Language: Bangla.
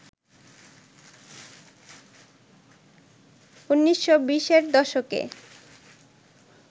১৯২০র দশকে